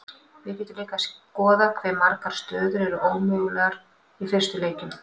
við getum líka skoðað hve margar stöður eru mögulegar í fyrstu leikjum